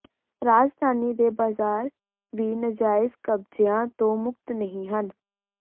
ਰਾਜਧਾਨੀ ਦੇ ਬਾਜ਼ਾਰ ਵੀ ਨਜਾਇਜ਼ ਕਬਜ਼ਿਆਂ ਤੋਂ ਮੁਕਤ ਨਹੀਂ ਹਨ